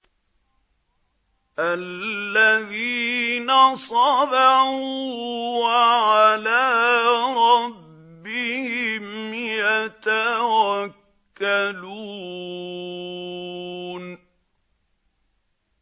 الَّذِينَ صَبَرُوا وَعَلَىٰ رَبِّهِمْ يَتَوَكَّلُونَ